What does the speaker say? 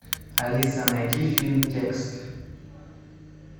алиса найди фильм текст